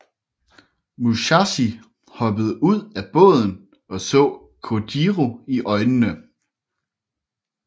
Musashi hoppede ud af båden og så Kojiro i øjnene